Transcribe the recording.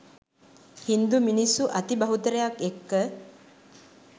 හින්දු මිනිස්සු අති බහුතරයක් එක්ක